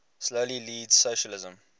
slowly leads socialism